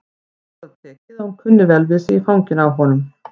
Vægt til orða tekið að hún kunni vel við sig í fanginu á honum.